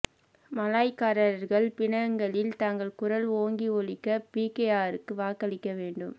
மலாய்க்காரர்கள் பினாங்கில் தங்கள் குரல் ஓங்கி ஒலிக்க பிகேஆருக்கு வாக்களிக்க வேண்டும்